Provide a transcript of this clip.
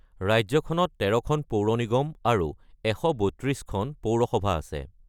ৰাজ্যখনত ১৩খন পৌৰ নিগম আৰু ১৩২খন পৌৰসভা আছে।